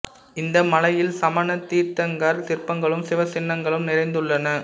இந்த மலையில் சமணத் தீர்த்தங்கரர் சிற்பங்களும் சிவச் சின்னங்களும் நிறைந்துள்ளன